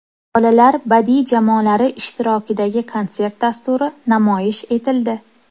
Bolalar badiiy jamoalari ishtirokidagi konsert dasturi namoyish etildi.